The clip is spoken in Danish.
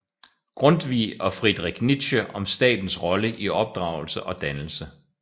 Grundtvig og Friedrich Nietzsche om statens rolle i opdragelse og dannelse